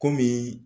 Kɔmi